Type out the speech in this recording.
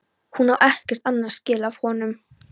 Hún á ekkert annað skilið af honum.